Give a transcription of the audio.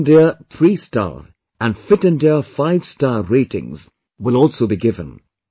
Fit India three star and Fit India five star ratings will also be given